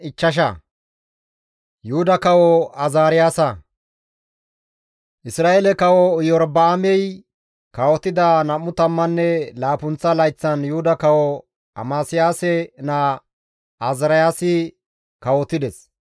Isra7eele kawo Iyorba7aamey kawotida nam7u tammanne laappunththa layththan Yuhuda kawo Amasiyaase naa Azaariyaasi kawotides.